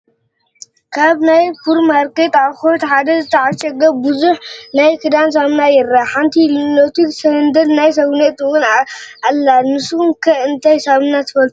ካብ ናይ ፑርማርኬት ኣቑሑት ሓደ ዝተዓሸገ ብዙሕ ናይ ክዳን ሳሙና ይረአ፡፡ ሓንቲ ሊኖክስ ሰንደል ናይ ሰውነት ውን ኣላ፡፡ ንስኹም ከ እንታይ ዓይነት ሳሙና ትፈልጡ?